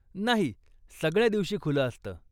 नाही, सगळ्या दिवशी खुलं असतं.